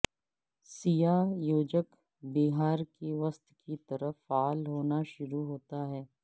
سیاہ یوجک بہار کے وسط کی طرف فعال ہونا شروع ہوتا ہے